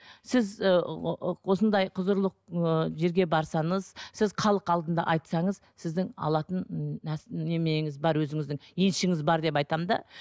сіз ыыы осындай құзырлық ы жерге барсаңыз сіз халық алдында айтсаңыз сіздің алатын неменеңіз бар өзіңіздің еншіңіз бар деп айтамын да